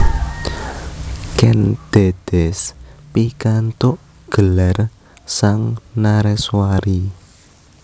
Kèn Dèdès pikantuk gelar Sang Nareswari